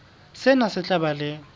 sena se tla ba le